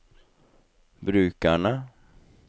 brukerne